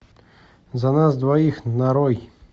за нас двоих нарой